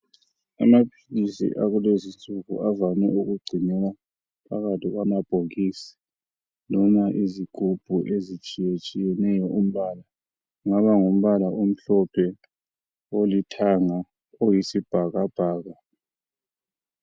Amaphilisi akulezi nsuku avame ukugcinwa phakathi kwamabhokisi loba izigubhu ezitshiye tshiyeneyo kungaba ngumbala omhlophe olithanga oyisibhakabhaka